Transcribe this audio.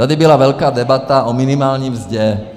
Tady byla velká debata o minimální mzdě.